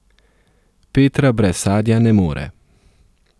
Petra brez sadja ne more.